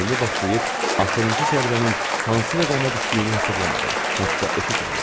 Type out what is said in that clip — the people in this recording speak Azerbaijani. Oyuna başlayıb axırıncı zərbənin hansı rəqəmə düşdüyünü hesablamadım, hətta eşitmədim.